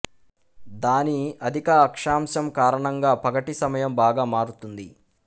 దాని అధిక అక్షాంశం కారణంగా పగటి సమయం బాగా మారుతుంది